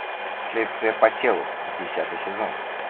следствие по телу десятый сезон